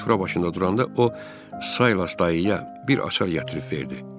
Biz sıfır başında duranda o Saylas dayıya bir açar gətirib verdi.